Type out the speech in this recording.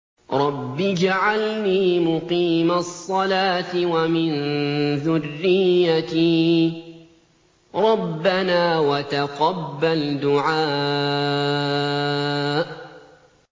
رَبِّ اجْعَلْنِي مُقِيمَ الصَّلَاةِ وَمِن ذُرِّيَّتِي ۚ رَبَّنَا وَتَقَبَّلْ دُعَاءِ